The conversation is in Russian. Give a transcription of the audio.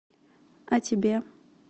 о тебе